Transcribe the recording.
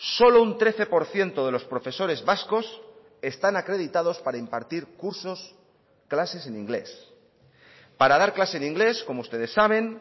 solo un trece por ciento de los profesores vascos están acreditados para impartir cursos clases en inglés para dar clase de inglés como ustedes saben